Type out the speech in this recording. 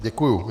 Děkuji.